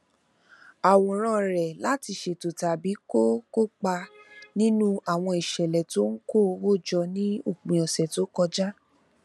àwòrán rẹ láti ṣètò tàbí kó kópa nínú àwọn ìṣẹlẹ tó ń kó owó jọ ní òpin ọsẹ tó kọjá